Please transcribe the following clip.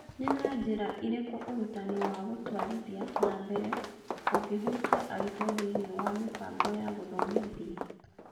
Nĩ na Njĩra Ĩrĩkũ Ũrutani wa Gũtwarithia na Mbere Ũngĩhutia Arutwo Thĩinĩ wa Mĩbango ya Gũthomithia?